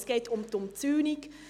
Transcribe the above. Es geht um die Umzäunung: